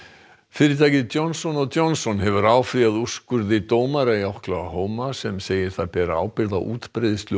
fFyrirtækið Johnson Johnson hefur áfrýjað úrskurði dómara í Oklahoma sem segir það bera ábyrgð á útbreiðslu